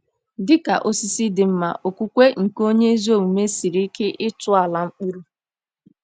Dị ka osisi dị mma, okwukwe nke onye ezi omume siri ike ịtọala mkpụrụ.